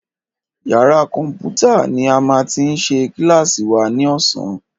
Yàrá kọ̀mpútà ní a máa ti ṣe kílàsì wa ní ọ̀sán.